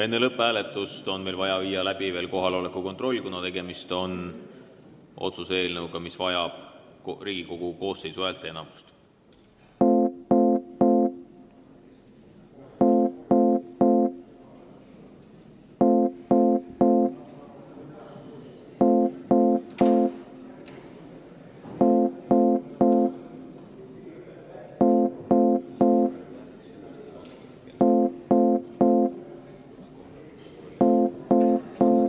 Enne lõpphääletust on meil vaja teha kohaloleku kontroll, kuna tegemist on otsuse eelnõuga, mille puhul on vaja Riigikogu koosseisu häälteenamust.